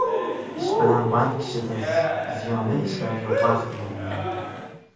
Ish bilan band kishida ziyonli ishlarga vaqt bo‘lmaydi.